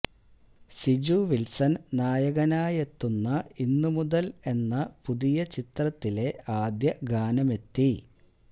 സിജു വിൽസൺ നായകനായെത്തുന്ന ഇന്നു മുതൽ എന്ന പുതിയ ചിത്രത്തിലെ ആദ്യ ഗാനമെത്തി